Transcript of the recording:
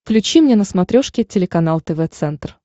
включи мне на смотрешке телеканал тв центр